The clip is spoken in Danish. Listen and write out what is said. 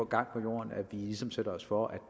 gang på jorden at vi ligesom sætter os for at